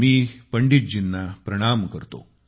मी पंडितजींना प्रणाम करतो